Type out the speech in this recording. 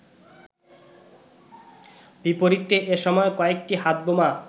বিপরীতে এ সময় কয়েকটি হাতবোমা